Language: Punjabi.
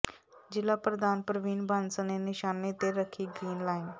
ਜ਼ਿਲਾ ਪ੍ਰਧਾਨ ਪ੍ਰਵੀਨ ਬਾਂਸਲ ਨੇ ਨਿਸ਼ਾਨੇ ਤੇ ਰੱਖੀ ਗ੍ਰੀਨ ਲਾਈਨ